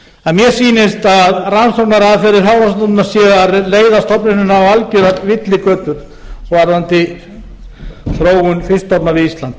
að mér sýnist að rannsóknaraðferðir hafrannsóknastofnunar séu að leiða stofnunina á algerar villigötur varðandi þróun fiskstofna við ísland